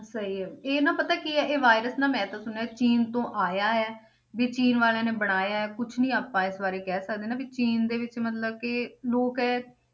ਸਹੀ ਹੈ ਇਹ ਨਾ ਪਤਾ ਕੀ ਹੈ ਇਹ virus ਨਾ ਮੈਂ ਤੇ ਸੁਣਿਆ ਚੀਨ ਤੋਂ ਆਇਆ ਹੈ, ਵੀ ਚੀਨ ਵਾਲਿਆਂ ਨੇ ਬਣਾਇਆ ਹੈ ਕੁਛ ਨੀ ਆਪਾਂ ਇਸ ਬਾਰੇ ਕਹਿ ਸਕਦੇ ਨਾ ਵੀ ਚੀਨ ਦੇ ਵਿੱਚ ਮਤਲਬ ਕਿ ਲੋਕ ਹੈ,